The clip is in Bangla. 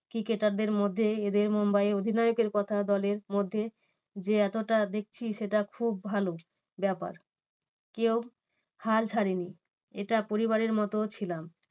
ক্রিকেটারদের মধ্যে এদের মুম্বাইয়ের অধিনায়ক কথা দলের মধ্যে যে এতটা দেখছি সেটা খুব ভালো ব্যাপার, কেউ হাল ছাড়েনি এটা পরিবারের মতো ছিলাম।